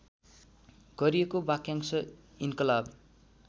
गरिएको वाक्यांश इन्कलाब